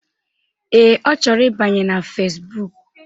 Ee, Ọ chọrọ ịbanye na Fesbụụk